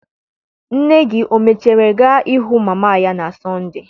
Nne gị o mechara gaa hụ mama ya na Sọnde?